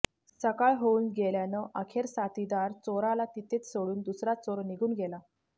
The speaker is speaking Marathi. सकाळ होऊन गेल्यानं अखेर साथीदार चोराला तिथेच सोडून दुसरा चोर निघून गेला